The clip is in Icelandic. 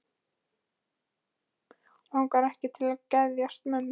Hana bæði langar og langar ekki til að geðjast mömmu.